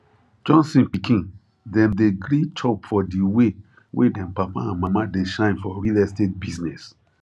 johnson pikin dem dey gree chop for di way wey dem papa and mama dey shine for real estate business